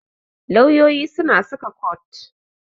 Lauyoyi suna saka kot.